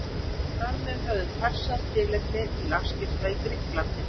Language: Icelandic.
Þar með höfðu Persar tilefni til afskipta í Grikklandi.